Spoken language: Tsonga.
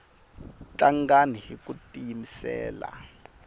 tlangani hiku tiyimisela